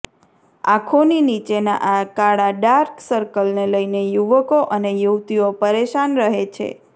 આંખોની નીચેના આ કાલા ડાર્ક સર્કલને લઇને યુવકો અને યુવતીઓ પરેશાન રહે છે